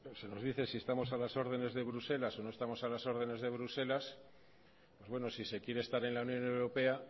se nos dice si estamos a las órdenes de bruselas o no estamos a las órdenes de bruselas pues bueno si se quiere estar en la unión europea